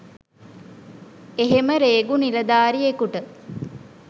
එහෙම රේගු නිලධාරියෙකුට